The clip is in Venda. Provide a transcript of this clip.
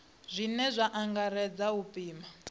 zwine zwa angaredza u pima